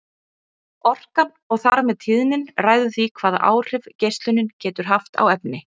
Orkan og þar með tíðnin ræður því hvaða áhrif geislunin getur haft á efni.